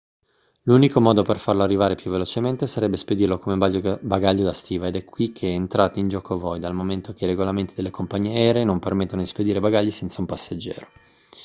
l'unico modo per farlo arrivare più velocemente sarebbe spedirlo come bagaglio da stiva ed è qui che entrate in gioco voi dal momento che i regolamenti delle compagnie aeree non permettono di spedire bagagli senza un passeggero